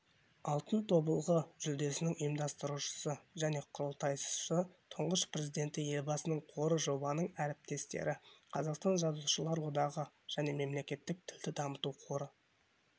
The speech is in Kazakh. алтын тобылғы жүлдесінің ұйымдастырушысы және құрылтайшысы тұңғыш президенті елбасының қоры жобаның әріптестері қазақстан жазушылар одағы және мемлекеттік тілді дамыту қоры